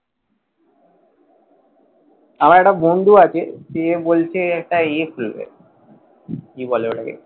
আমার একটা বন্ধু আছে সে বলছে একটা ইয়ে খুলবে কি বলে ওটাকে,